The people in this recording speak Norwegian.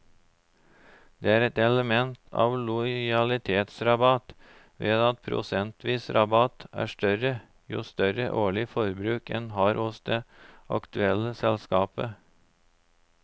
Det er et element av lojalitetsrabatt ved at prosentvis rabatt er større jo større årlig forbruk en har hos det aktuelle selskapet.